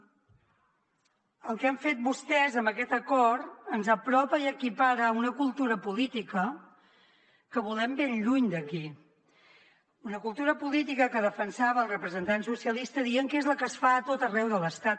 el que han fet vostès amb aquest acord ens apropa i equipara a una cultura política que volem ben lluny d’aquí una cultura política que defensava el representant socialista dient que és la que es fa a tot arreu de l’estat